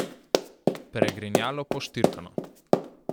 Pregrinjalo poštirkano.